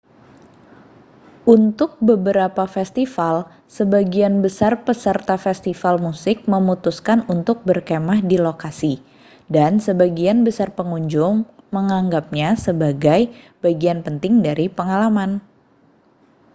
untuk beberapa festival sebagian besar peserta festival musik memutuskan untuk berkemah di lokasi dan sebagian besar pengunjung menganggapnya sebagai bagian penting dari pengalaman